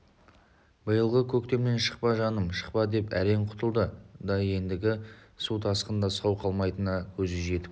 биылғы көктемнен шықпа жаным шықпа деп әрең құтылды да ендігі су тасқында сау қалмайтынына көзі жетіп